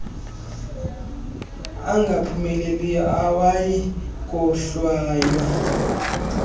angaphumeleliyo awayi kohlwaywa